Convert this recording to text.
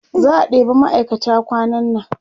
za'a ɗeba ma'aikata kwanan nan